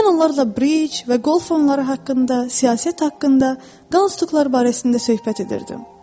Mən onlarla Briç və Qolf oyunları haqqında, siyasət haqqında, qanunlar barəsində söhbət edirdim.